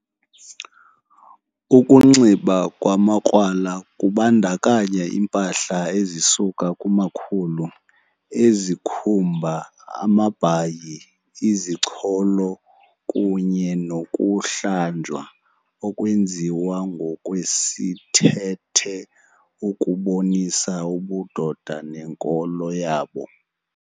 Ukunxiba kwamakrwala kubandakanya iimpahla ezisuka kumakhulu ezikhuumba, amabhayi, izicholo kunye nokuhlanjwa okwenziwa ngokwesithethe ukubonisa ubudoda nenkolo yabo.